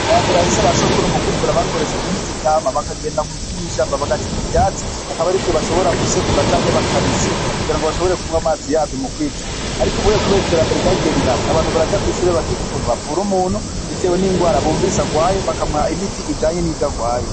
Ambambere hahise ba sokuru mu kwivura bakoresha imiti ikama bakagenda kumwishamba bagaca ivyatsi hakaba ari vyo bashobora gusekura canke bakabisya kugira ngo bashobore kunwa amazi yavyo mu kwivura, ariko ubiwoye, kubera iterambere rya gerirato abantu baraja kwishure bakiga ukuntu bavura umunturitewe n'ingwara bumvise arwayo bakamuha imiti ijanye n'ivyo arwaye.